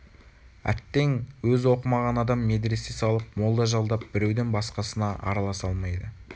әттең өзі оқымаған адам медресе салып молда жалдап беруден басқасына араласа алмайды